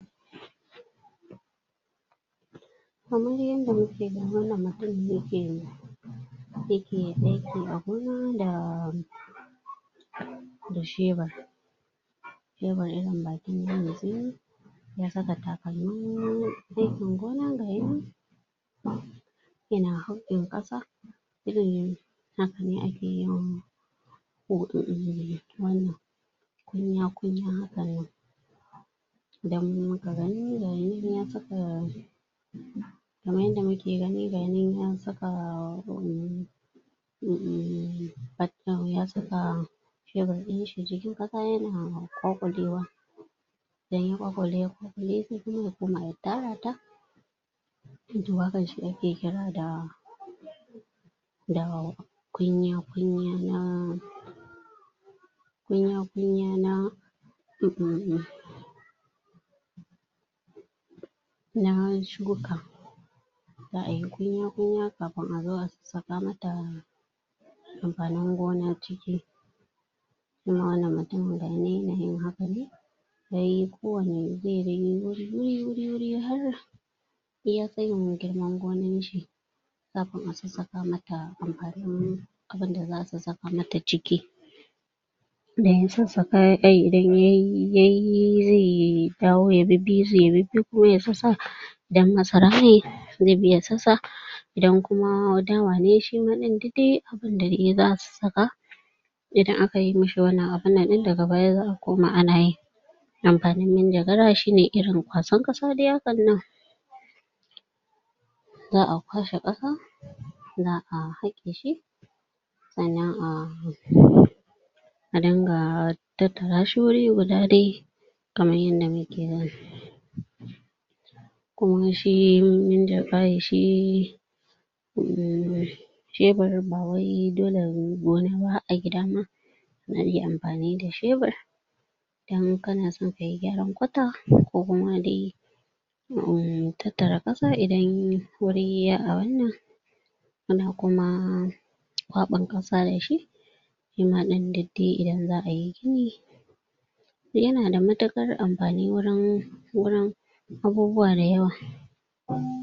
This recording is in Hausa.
Kamar yadda muke gani wannan mattumin yake aiki a gona da da shebur ya saka takalmin aikin gona gayinan yana ƙasa irin haka ne ake yin wannan kunya kunya hakan nan idan muka gani gayinan ya saka kaman yadda muke gayinan ya saka um shebur ɗinshi cikin ƙasa yan ƙwaƙulewa sai ya koma ya tara ta? da kunya kunya na kunya kunya na um na shuka za ayi kunya kunya kafin a zo a saka mata amfanin gona ciki shima wannan mutumun gayinan yana yin haka ne yayi ko wani zai yi wuri wuri wuri har iya tayin girman gonan shi kafin a sassaka mata amfanin abunda za a sassaka mata ciki idan ya sassaka idan yayi zai dawo ya bibbi su ya rufe ko ya sa idan masara ne zai bi ya sassa idan kuma dawa ne shima ɗin dai duk abunda dai zasu saka idan aka yi mishi wannan abunnan ɗin daga baya za a koma ana yin amfanin manjagara shine irin kwasan ƙasa dai hakan nan za a kwashe ƙasa za a haƙe shi sannan a a dinga atattara shi wuri guda dai kaman yadda muke gani Kuma shi um shebur ba wai dole gona ba har a gida ma ana iya amfani da shebur idan kana son kayi gyaran kwata ko kuma dai um tattara ƙasa idan wuri yayi abunnan ana kuma kwaɓan ƙasa da shi in har dai idan za a yi gini yana da matuƙar amfani wurin wurin abubuwa dayawa.